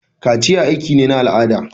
Kaciya aiki ne na al'ada.